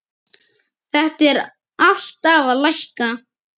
Þetta er alltaf að lækka.